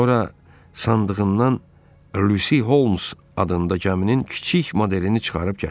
Sonra sandığından Lusy Holmes adında gəminin kiçik modelini çıxarıb gətirdi.